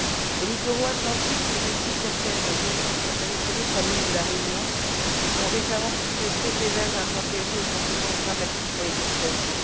Les littoraux atlantiques, mais aussi certaines régions ultrapériphériques, comme l'île de la Réunion, ont récemment subi de très sévères intempéries aux conséquences dramatiques pour les populations.